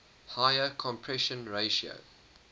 higher compression ratio